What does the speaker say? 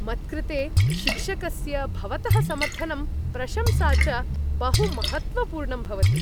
मत्कृते शिक्षकस्य भवतः समर्थनं प्रशंसा च बहु महत्त्वपूर्णं भवति।